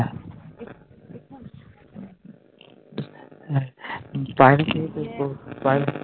বাইরে খেয়ে